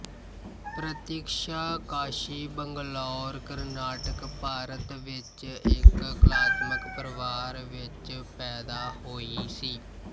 ਪ੍ਰਤੀਕਸ਼ਾ ਕਾਸ਼ੀ ਬੰਗਲੌਰ ਕਰਨਾਟਕ ਭਾਰਤ ਵਿੱਚ ਇੱਕ ਕਲਾਤਮਕ ਪਰਿਵਾਰ ਵਿੱਚ ਪੈਦਾ ਹੋਈ ਸੀ